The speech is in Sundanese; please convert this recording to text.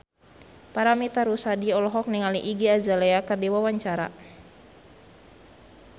Paramitha Rusady olohok ningali Iggy Azalea keur diwawancara